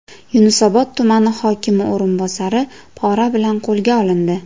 Yunusobod tumani hokimi o‘rinbosari pora bilan qo‘lga olindi.